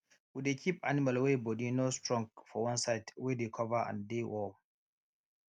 we dey keep animal wey body no strong for one side wey dey cover and dey warm